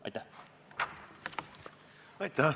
Aitäh!